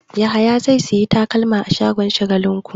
Yahaya zai sayi takalma a shagon Shagalinku.